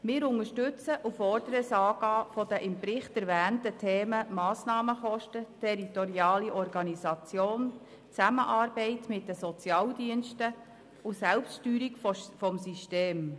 Wir unterstützen und fordern das Angehen der im Bericht erwähnten Themen Massnahmenkosten, territoriale Organisation, Zusammenarbeit mit den Sozialdiensten und Selbststeuerung des Systems.